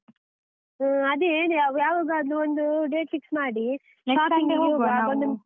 ಹ್ಮ್, ಅದೇ ಹೇಳು ಯಾವಾ~ ಯಾವಾಗಾದ್ರೂ ಒಂದು date fix ಮಾಡಿ .